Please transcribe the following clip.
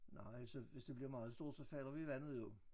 Nej så hvis det bliver meget stort så falder vi i vandet jo